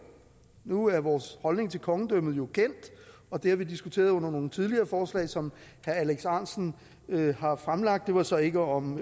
nu er vores holdning til kongedømmet jo kendt og det har vi diskuteret under nogle tidligere forslag som herre alex ahrendtsen har fremsat det var så ikke om